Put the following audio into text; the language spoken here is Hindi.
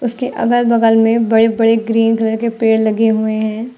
उसके अगल बगल में बड़े बड़े ग्रीन कलर के पेड़ लगे हुए हैं।